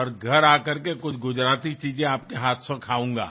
और घर आ करके कुछ गुजराती चीजें आपके हाथ से खाऊंगा